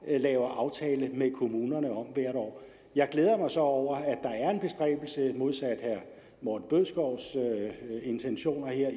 laver aftale med kommunerne om hvert år jeg glæder mig så over at modsat herre morten bødskovs intentioner her